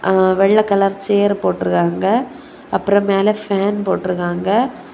ஆஆ வெள்ளை colour chair போட்டு இருக்காங்க அப்புறம் மேல ஃபேன் போட்ருக்காங்க.